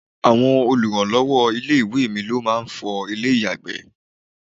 Àwọn oluranlowo ilé-ìwé mi ló máa ń fọ ilé-iyagbe.